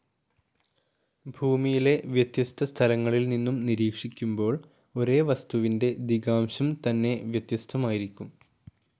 ഭൂമിയിലെ വ്യത്യസ്ത സ്ഥലങ്ങളിൽ നിന്നും നിരീക്ഷിക്കുമ്പോൾ ഒരേ വസ്തുവിൻ്റെ ദിഗാംശം തന്നെ വ്യത്യസ്ഥമായിരിക്കും.